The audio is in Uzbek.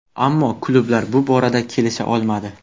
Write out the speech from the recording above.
Ammo klublar bu borada kelisha olmadi.